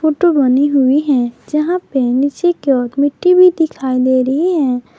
Photo बनी हुई हैं जहां पे नीचे की ओर मिट्टी भी दिखाई दे रही है।